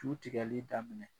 Su tigɛli daminɛ.